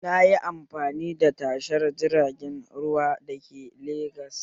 Nayi amfani da tashar jiragen ruwa da ke Legas